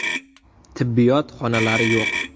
Tibbiyot xonalari yo‘q.